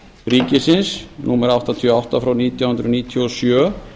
ríkisins númer áttatíu og átta frá nítján hundruð níutíu og sjö